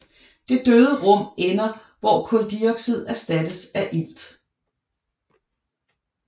Det døde rum ender hvor kuldioxid erstattes af ilt